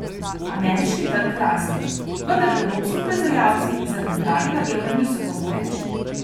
Ameriški trg raste, vendar evropski proizvajalci zaradi dragega evra niso konkurenčni.